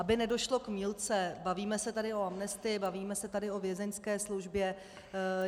Aby nedošlo k mýlce, bavíme se tady o amnestii, bavíme se tady o vězeňské službě.